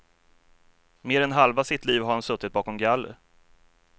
Mer än halva sitt liv har han suttit bakom galler.